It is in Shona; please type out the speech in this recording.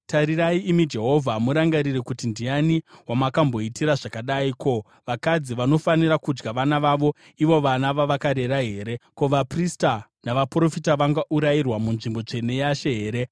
“Tarirai, imi Jehovha, murangarire kuti: Ndiani wamakamboitira zvakadai? Ko, vakadzi vanofanira kudya vana vavo, ivo vana vavakarera here? Ko, vaprista navaprofita vangaurayirwa munzvimbo tsvene yaShe here?